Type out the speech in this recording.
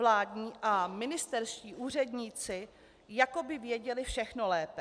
Vládní a ministerští úředníci jako by věděli všechno lépe.